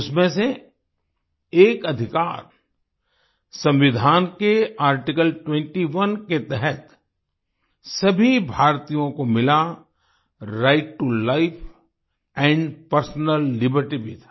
उसमें से एक अधिकार संविधान के आर्टिकल 21 के तहत सभी भारतीयों को मिला right to life and personal liberty भी था